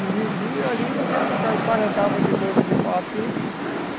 E vendia ali, você ia tocar e paradava de novo de pau a pique.